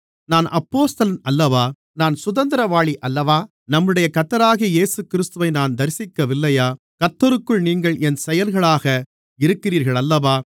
நான் அப்போஸ்தலன் அல்லவா நான் சுதந்திரவாளி அல்லவா நம்முடைய கர்த்தராகிய இயேசுகிறிஸ்துவை நான் தரிசிக்கவில்லையா கர்த்தருக்குள் நீங்கள் என் செயல்களாக இருக்கிறீர்களல்லவா